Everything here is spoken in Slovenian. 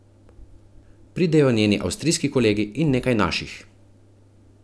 Pridejo njeni avstrijski kolegi in nekaj naših.